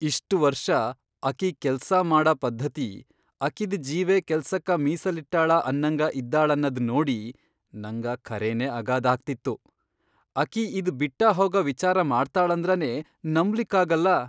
ಇಷ್ಟ್ ವರ್ಷ ಅಕಿ ಕೆಲ್ಸಾ ಮಾಡ ಪದ್ಧತಿ, ಅಕಿದ್ ಜೀವೇ ಕೆಲ್ಸಕ ಮೀಸಲಿಟ್ಟಾಳ ಅನ್ನಂಗ ಇದ್ದಾಳನ್ನದ್ ನೋಡಿ ನಂಗ ಖರೆನೇ ಅಗಾಧಾಗ್ತಿತ್ತು, ಅಕಿ ಇದ್ ಬಿಟ್ಟಹೋಗ ವಿಚಾರ ಮಾಡ್ತಾಳಂದ್ರನೇ ನಂಬ್ಲಿಕ್ಕಾಗಲ್ಲಾ.